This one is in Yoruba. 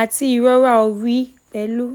àti ìrora orí pẹ̀lú